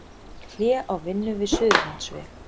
Hlé á vinnu við Suðurlandsveg